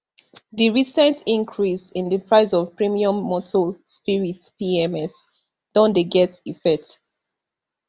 di recent increase in di price of premium motor spirits pms don dey get effect